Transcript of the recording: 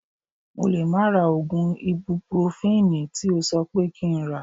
Mo lè má ra oògùn ibupurofini tí o sọ pé kí n rà